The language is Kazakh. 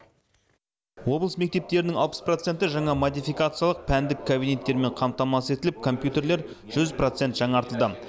облыс мектептерінің алпыс проценті жаңа модификациялық пәндік кабинеттермен қамтамасыз етіліп компьютерлер жүз проценті жаңартылды